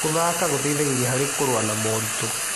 Gũthaka gũteithagia harĩ kũrũa na moritũ.